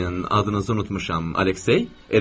Adınızı unutmuşam, Aleksey, elə deyilmi?